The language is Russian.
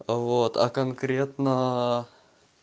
вот а конкретно